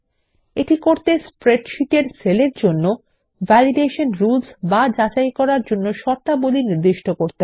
এটি করতে স্প্রেডশীটে নির্বাচিত সেল এর জন্য ভ্যালিডেশন রুলস নির্দিষ্ট করতে হবে